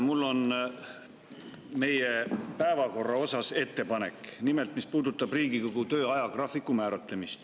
Mul on meie päevakorra kohta ettepanek, mis puudutab Riigikogu töö ajagraafikut.